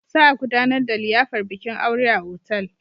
Za a gudanar da liyafar bikin aure a otal.